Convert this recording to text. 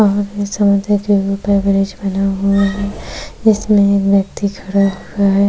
Bridge बना हुआ है जिसमें एक व्यक्ति खड़ा हुआ है।